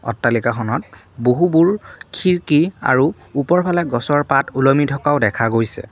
অট্টালিকাখনত বহুবোৰ খিৰকী আৰু ওপৰফালে গছৰ পাত ওলমি থকাও দেখা গৈছে।